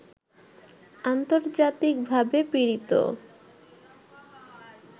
আন্তর্জাতিকভাবে পীড়িত